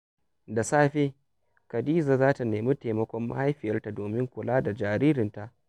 Da safe, Khadija za ta nemi taimakon mahaifiyarta domin kula da jaririnta.